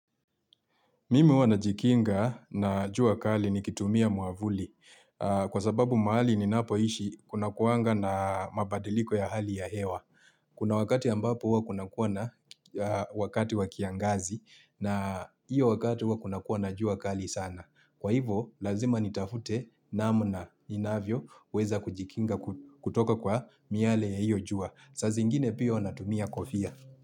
Mimi huwa najikinga na jua kali ni kitumia mwavuli. Kwa sababu mahali ni napo ishi kuna kuanga na mabadiliko ya hali ya hewa. Kuna wakati ambapo huwa kuna kuwa na wakati wa kiangazi na iyo wakati huwa kuna kuwa na jua kali sana. Kwa hivo, lazima nitafute namuna inavyo uweza kujikinga kutoka kwa miale ya iyo jua. Saa zi ngine pia huwa natumia kofia.